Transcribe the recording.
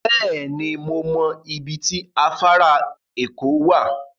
Beeni, mo mo ibi ti afara eko wa